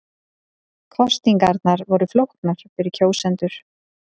Kosningarnar voru flóknar fyrir kjósendur